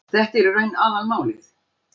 Þetta er í raun aðalmálið